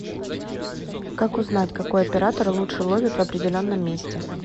как узнать какой оператор лучше ловит в определенном месте